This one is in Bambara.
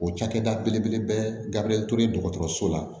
O cakɛda belebeleba to ye dɔgɔtɔrɔso la